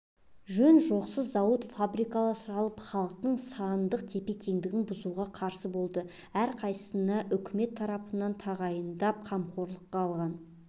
жөн-жосықсыз зауыт-фабрикалар салып халықтың сандық тепе-теңдігін бұзуға қарсы болды әрқайсысына үкімет тарапынан тағайындап қамқорлыққа алған